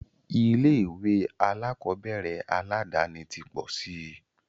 Ilé ìwé alákọ̀berẹ̀ aládàni ti pọ̀ síi.